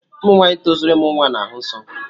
Ụmụ nwaanyị tozuru ịmụ nwa na-ahụ nsọ.